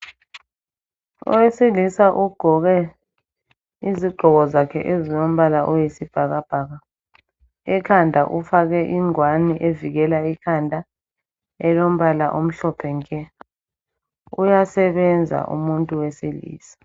Owesilisa ugqoke izigqoko zakhe ezilombala oyisibhakabhaka. Ekhanda ufake ingwane evikela ikhanda elombala omhlophe nke. Uyasebenza umuntu wesilisa.